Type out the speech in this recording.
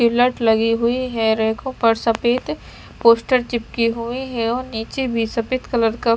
लगी हुई हैं रैखों पर सफ़ेद पोस्टर चिपके हुए हैं और नीचे भी सफ़ेद कलर का--